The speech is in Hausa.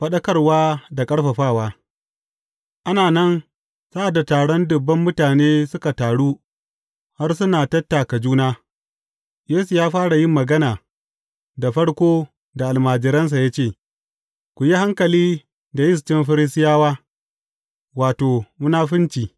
Faɗakarwa da ƙarfafawa Ana nan sa’ad da taron dubban mutane suka taru har suna tattaka juna, Yesu fara yin magana, da farko da almajiransa ya ce, Ku yi hankali da yistin Farisiyawa, wato, munafunci.